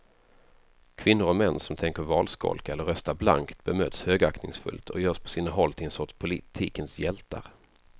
Kvinnor och män som tänker valskolka eller rösta blankt bemöts högaktningsfullt och görs på sina håll till en sorts politikens hjältar.